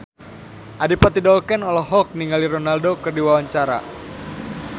Adipati Dolken olohok ningali Ronaldo keur diwawancara